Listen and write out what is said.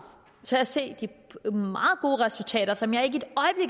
til at se de meget gode resultater som jeg ikke